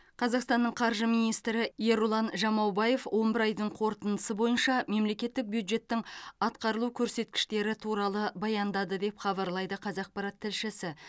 қазақстанның қаржы министрі ерұлан жамаубаев он бір айдың қорытындысы бойынша мемлекеттік бюджеттің атқарылу көрсеткіштері туралы баяндады деп хабарлайды қазақпарат тілшісі